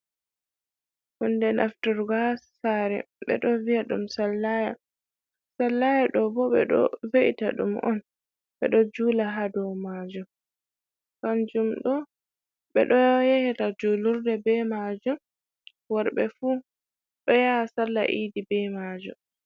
Hunde nafturgo haa saare, ɓe ɗo wi'a ɗum sallaya. Sallaya ɗo bo, ɓe ɗo we’ita ɗum on, ɓe ɗo juula haa dow maajum. Kanjum ɗo, be ɗo yahira julurde be maajum, worɓe fu ɗo yaha salla idi be maajum.